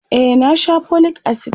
e na Sha folic acid